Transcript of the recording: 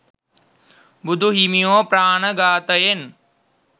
බුදු හිමියෝ ප්‍රාණ ඝාතයෙන්,